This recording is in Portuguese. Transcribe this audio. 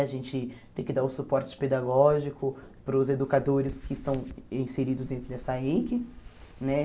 A gente tem que dar o suporte pedagógico para os educadores que estão inseridos dentro dessa EIC né.